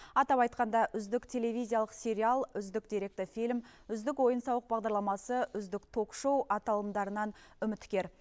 атап айтқанда үздік телевизиялық сериал үздік деректі фильм үздік ойын сауық бағдарламасы үздік ток шоу аталымдарынан үміткер